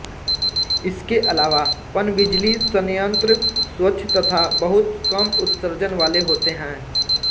इसके अलावा पनबिजली संयंत्र स्वच्छ तथा बहुत कम उत्सर्जन वाले होते हैं